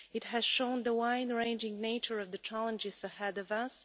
It has shown the wide-ranging nature of the challenges ahead of us.